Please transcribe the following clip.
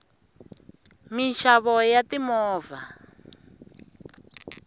minxavo ya timovha